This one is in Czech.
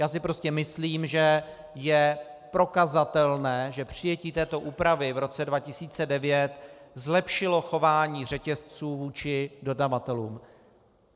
Já si prostě myslím, že je prokazatelné, že přijetí této úpravy v roce 2009 zlepšilo chování řetězců vůči dodavatelům.